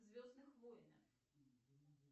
звездных войнах